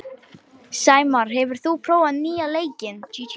Sæmar, hefur þú prófað nýja leikinn?